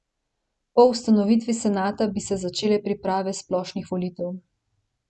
Po ustanovitvi senata bi se začele priprave splošnih volitev.